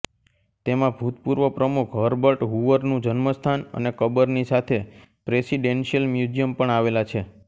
તેમાં ભૂતપૂર્વ પ્રમુખ હર્બર્ટ હૂવરનું જન્મસ્થાન અને કબરની સાથે પ્રેસિડેન્શિયલ મ્યુઝિયમ પણ આવેલા છે